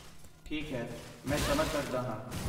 ਠੀਕ ਹੈ, ਮੈਂ ਸਮਝ ਸਕਦਾ ਹਾਂ।